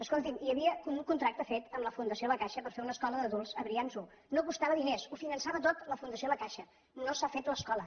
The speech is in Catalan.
escolti’m hi havia un contracte fet amb la fundació la caixa per fer una escola d’adults a brians i no costava diners ho finançava tot la fundació la caixa no s’ha fet l’escola